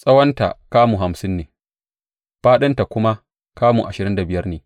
Tsawonta kamu hamsin ne fāɗinta kuma kamu ashirin da biyar ne.